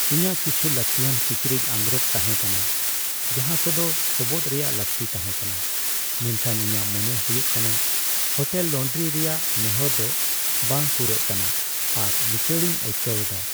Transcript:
ᱤᱧᱟᱹᱜ ᱠᱤᱪᱷᱩ ᱞᱟᱹᱠᱛᱤᱭᱟᱱ ᱠᱤᱪᱨᱤᱡ ᱟᱸᱜᱽᱨᱚᱯ ᱛᱟᱦᱮᱸ ᱠᱟᱱᱟ ᱡᱟᱦᱟᱸ ᱠᱚᱫᱚ ᱥᱚᱵᱚᱫᱽ ᱨᱮᱭᱟᱜ ᱞᱟᱹᱠᱛᱤ ᱛᱟᱦᱮᱸ ᱠᱟᱱᱟ, ᱢᱮᱱᱠᱷᱟᱱ ᱤᱧᱟᱹᱜ ᱢᱚᱱᱮ ᱦᱩᱭᱩᱜ ᱠᱟᱱᱟ ᱦᱳᱴᱮᱞ ᱞᱚᱱᱰᱨᱤ ᱨᱮᱭᱟᱜ ᱱᱮᱦᱚᱨ ᱫᱚ ᱵᱟᱝ ᱯᱩᱨᱟᱹᱜ ᱠᱟᱱᱟ ᱟᱨ ᱞᱤᱪᱟᱹᱲ ᱤᱧ ᱟᱹᱭᱠᱟᱹᱣ ᱮᱫᱟ ᱾